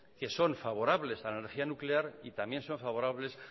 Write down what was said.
que son favorables a la energía nuclear y también son favorables